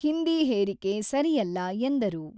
ಹಿಂದಿ ಹೇರಿಕೆ ಸರಿಯಲ್ಲ ಎಂದರು.